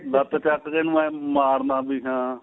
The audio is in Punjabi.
ਲੱਤ ਚੱਕ ਕੇ ਇੰਨੁ ਏ ਮਾਰਨਾ ਵੀ ਹਾਂ